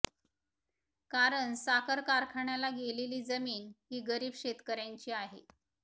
कारण साखर कारखान्याला गेलेली जमीन ही गरीब शेतकर्यांची आहे